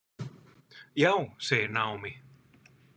Já, segir Naomi.